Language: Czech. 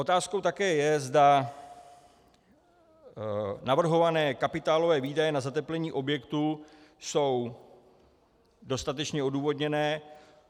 Otázkou také je, zda navrhované kapitálové výdaje na zateplení objektu jsou dostatečně odůvodněné.